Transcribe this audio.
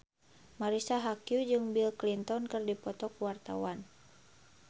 Marisa Haque jeung Bill Clinton keur dipoto ku wartawan